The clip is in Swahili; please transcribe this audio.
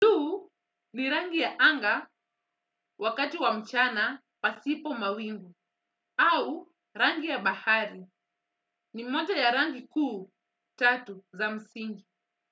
Ni rangi ya anga wakati wa mchana pasipo mawingu au rangi ya bahari ni mmoja ya rangi kuu tatu za msingi.